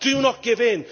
Do not give in.